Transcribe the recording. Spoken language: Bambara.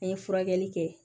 An ye furakɛli kɛ